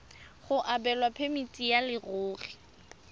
go abelwa phemiti ya leruri